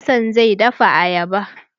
Hassan zai dafa ayaba.